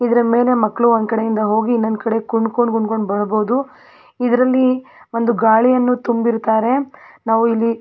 ಇದ್ರ ಮೇಲೆ ಮಕ್ಕಳು ಒಂದ ಕಡೆಯಿಂದ ಹೋಗಿ ಇನ್ನೊಂದ ಕಡೆ ಕುಂದ್ ಕೊಂಡ ಕುಂದ್ ಕೊಂಡ ಬರಬಹುದು ಇದ್ರಲ್ಲಿ ಒಂದು ಗಾಳಿಯನ್ನು ತುಂಬಿರತ್ತಾರೆ ನಾವು ಇಲ್ಲಿ --